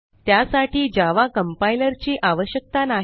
त्यासाठी Java compiler ची आवश्यकता नाही